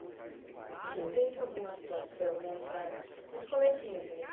E teve alguma situação nessa nesse comecinho, assim, nesse